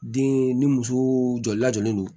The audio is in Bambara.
Den ni muso jɔlen don